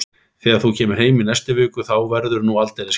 Þegar þú kemur heim í næstu viku að þá verður nú aldeilis gaman, ha?